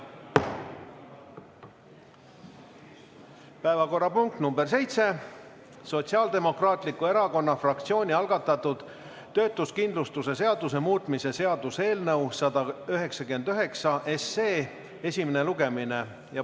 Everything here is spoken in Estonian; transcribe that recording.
Päevakorrapunkt number seitse on Sotsiaaldemokraatliku Erakonna fraktsiooni algatatud töötuskindlustuse seaduse muutmise seaduse eelnõu 199 esimene lugemine.